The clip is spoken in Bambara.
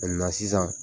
sisan